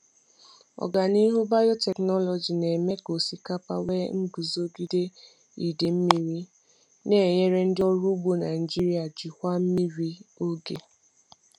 Ọganihu biotechnology na-eme ka osikapa nwee iguzogide idei mmiri, na-enyere ndị ọrụ ugbo Naijiria jikwaa mmiri oge.